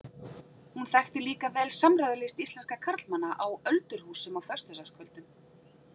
Hún þekkti líka vel samræðulist íslenskra karlmanna á öldurhúsum á föstudagskvöldum.